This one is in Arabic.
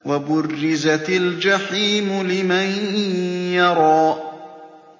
وَبُرِّزَتِ الْجَحِيمُ لِمَن يَرَىٰ